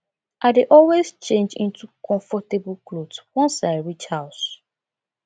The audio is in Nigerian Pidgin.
i dey always change into comfortable clothes wans i reach house